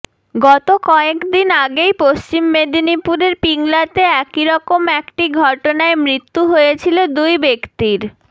গত কয়েকদিন আগেই পশ্চিম মেদিনীপুরের পিংলাতে একইরকম একটি ঘটনায় মৃত্যু হয়েছিল দুই ব্যাক্তির